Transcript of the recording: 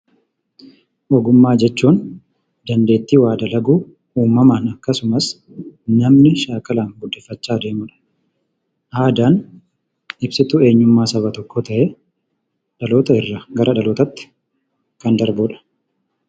Ogummaa jechuun dandeetti waa dalaguu uumamaan akkasumas namni shaakalaan guddifachaa deemudha. Aadaan ibsitu eenyummaa saba tokkoo ta'ee, dhaloota irraa gara dhalootaatti kan darbudha.